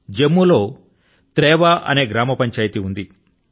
జమ్ము లో త్రేవా అనే గ్రామ పంచాయతీ ఉంది